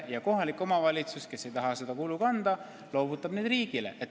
Ning kohalik omavalitsus, kes ei taha seda kulu kanda, loovutab need korterid riigile.